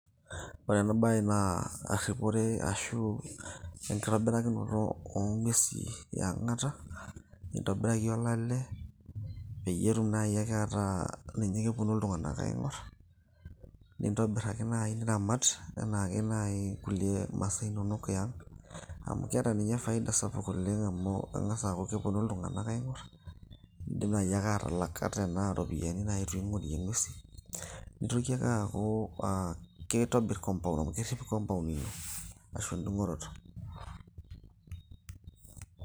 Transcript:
ore ena baye naa erripore ashu enkitobirakinoto oong'uesi e ang'ata nintobiraki olale peyie etum naaji ake ataa ninye keponu iltung'anak aing'orr nintobirr ake naaji niramat enaake naaji kulie masaa inonok eang, amu keeta ninye faida sapuk oleng amu keng'as aaku keponu iltung'anak aing'orr nidim naaji ake aatalak ata anaa iropiyiani naaji piing'orie ing'uesin nitoki ake aaku aa kitobirr compound amu kerrip compound ino arashu endung'oroto.